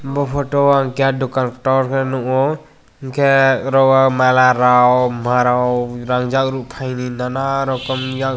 o photo ang keha dukan torkhe nukgo hinkhe oro o mala rok marong rangjak rukphaini nana rokom yang.